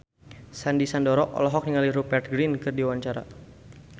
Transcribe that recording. Sandy Sandoro olohok ningali Rupert Grin keur diwawancara